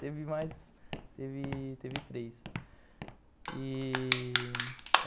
Teve mais, teve teve três.